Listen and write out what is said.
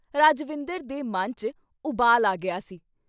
ਰਜਵਿੰਦਰ ਦੇ ਮਨ 'ਚ ਉਬਾਲ ਆ ਗਿਆ ਸੀ।